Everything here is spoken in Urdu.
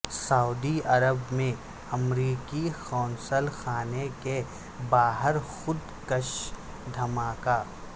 سعودی عرب میں امریکی قونصل خانے کے باہر خود کش دھماکہ